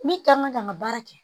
Ne ka kan ka n ka baara kɛ